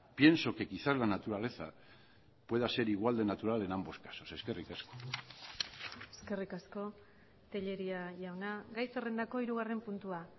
pienso que quizás la naturaleza pueda ser igual de natural en ambos casos eskerrik asko eskerrik asko telleria jauna gai zerrendako hirugarren puntua